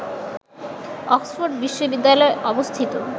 Oxford বিশ্ববিদ্যালয় অবস্থিত